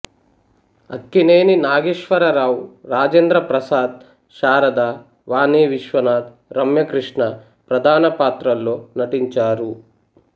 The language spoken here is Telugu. అక్కినేని నాగేశ్వరరావు రాజేంద్ర ప్రసాద్ శారద వాణి విశ్వనాథ్ రమ్యకృష్ణ ప్రధాన పాత్రల్లో నటించారు